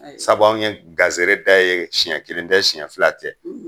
Sabu anw ye gazere da ye siɲɛ kelen tɛ siɲɛ fila tɛ.